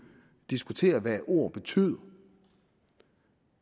diskutere hvad ord betyder